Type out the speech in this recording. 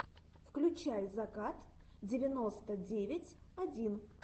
включай закат девяносто девять один